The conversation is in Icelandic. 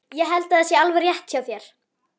Ég held að það sé alveg rétt hjá þér